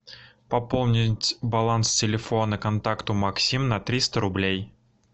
пополнить баланс телефона контакту максим на триста рублей